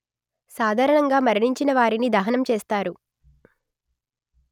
సాధారణంగా మరణించిన వారిని దహనం చేస్తారు